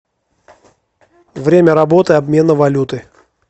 время работы обмена валюты